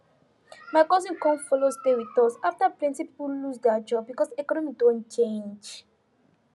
my cousin come follow stay with us after plenty people lose their job because economy don change